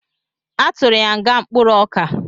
A tụrụ ya nga mkpụrụoka